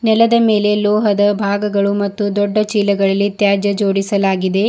ನೆಲದ ಮೇಲೆ ಲೋಹದ ಭಾಗಗಳು ಮತ್ತು ದೊಡ್ಡ ಚೀಲಗಳಲ್ಲಿ ತ್ಯಾಜ್ಯ ಜೋಡಿಸಲಾಗಿದೆ.